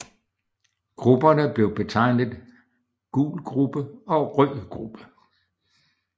Grupperne blev betegnet Gul gruppe og Rød gruppe